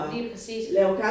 Lige præcis men